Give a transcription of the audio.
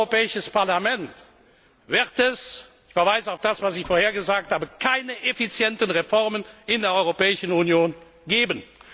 Ohne das Europäische Parlament wird es ich verweise auf das, was ich vorher gesagt habe keine effizienten Reformen in der Europäischen Union geben.